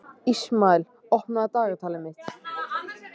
Ísmael, opnaðu dagatalið mitt.